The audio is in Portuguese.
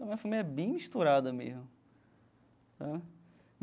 Minha família é bem misturada mesmo tá.